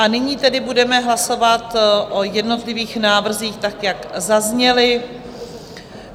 A nyní tedy budeme hlasovat o jednotlivých návrzích tak, jak zazněly.